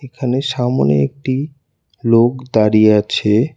এখানে সামোনে একটি লোক দাঁড়িয়ে আছে।